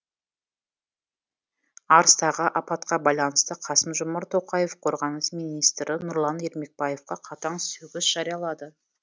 арыстағы апатқа байланысты қасым жомарт тоқаев қорғаныс министрі нұрлан ермекбаевқа қатаң сөгіс жариялады